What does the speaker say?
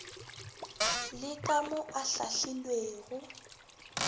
le ka mo o hlahlilwego